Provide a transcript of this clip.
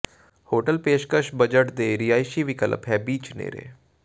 hotel ਪੇਸ਼ਕਸ਼ budget ਦੇ ਰਿਹਾਇਸ਼ੀ ਵਿਕਲਪ ਹੈ ਬੀਚ ਨੇੜੇ